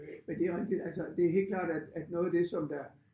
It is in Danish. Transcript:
Men det er også lidt altså det er helt klart at at noget af det som der